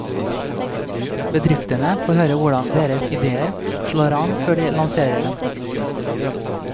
Bedriftene får høre hvordan deres idéer slår an før de lanserer dem.